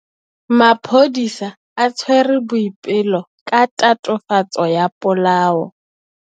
Maphodisa a tshwere Boipelo ka tatofatsô ya polaô.